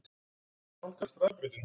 Þau voru að nálgast hraðbrautina.